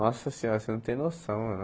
Nossa senhora, você não tem noção mano.